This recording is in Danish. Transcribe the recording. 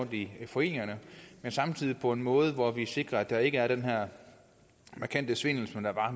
i foreningerne men samtidig på en måde hvor vi sikrer at der ikke er den her markante svindel som der har